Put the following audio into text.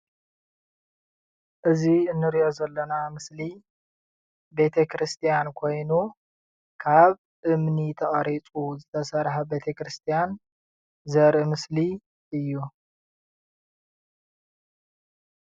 እዚ እንሪኦ ዘለና ምስሊ ቤተ ክርስቲያን ኮይኑ ካብ እምኒ ተቀሪፁ ዝተሰርሐ ቤተ ክርስቲያን ዘርኢ ምስሊ እዩ ።